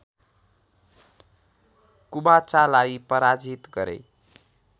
कुबाचालाई पराजित गरे